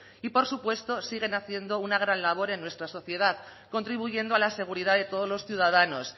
y por supuesto siguen haciendo una gran labor en nuestra sociedad contribuyendo a la seguridad de todos los ciudadanos